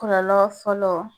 Kɔlɔlɔ fɔlɔ